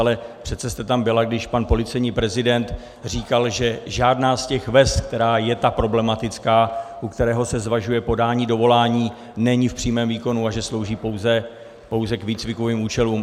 Ale přece jste tam byla, když pan policejní prezident říkal, že žádná z těch vest, která je ta problematická, u které se zvažuje podání dovolání, není v přímém výkonu a že slouží pouze k výcvikovým účelům.